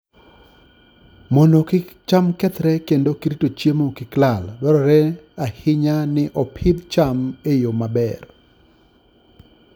Mondo kik cham kethre kendo rito chiemo kik lal, dwarore ahinya ni opidh cham e yo maber.